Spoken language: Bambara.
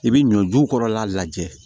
I bi ɲɔ jukɔrɔla lajɛ